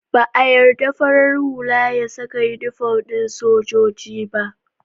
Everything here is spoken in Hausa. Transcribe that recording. Ba a yarda farar hula ya saka inifom ɗin sojoji ba